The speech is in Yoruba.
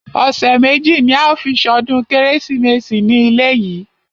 Ọ̀sẹ̀ méjì ní a ó fi ṣọdún kérésìmesì ní ilé yìí.